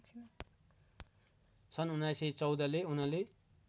सन् १९१४ ले उनले